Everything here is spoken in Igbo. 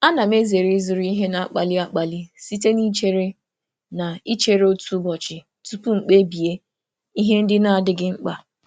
M na-ezere ịzụrụ ihe na um mberede site n'ịchere otu ụbọchị tupu m ekpebi ihe na-abụghị ihe dị um mkpa.